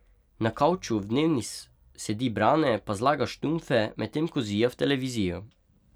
Na kavču v dnevni sedi Brane pa zlaga štumfe, medtem ko zija v televizijo.